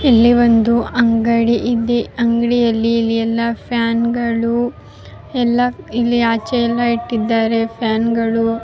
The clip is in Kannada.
ಬಲ್ಬ್ಗಳು ಎಲ್ಲ ಇಲ್ಲಿ ಕಾಣ್ಸ್ತ ಇದೆ.